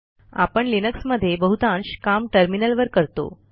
आपण लिनक्समध्ये बहुतांश काम टर्मिनलवर करतो